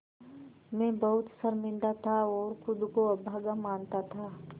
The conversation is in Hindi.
मैं बहुत शर्मिंदा था और ख़ुद को अभागा मानता था